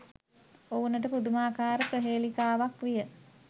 ඔවුනට පුදුමාකාර ප්‍රහේලිකාවක් විය